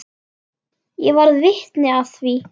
Ég varð vitni að því.